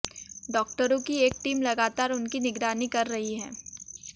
डॉक्टरों की एक टीम लगातार उनकी निगरानी कर रही है